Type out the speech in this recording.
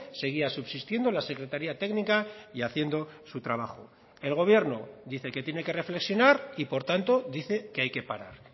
seguía subsistiendo la secretaría técnica y haciendo su trabajo el gobierno dice que tiene que reflexionar y por tanto dice que hay que parar